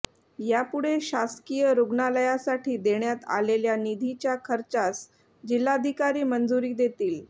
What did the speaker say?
यापुढे शासकीय रुग्णालयासाठी देण्यात आलेल्या निधीच्या खर्चास जिल्हाधिकारी मंजुरी देतील